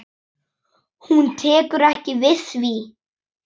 Hún tekur ekki við því.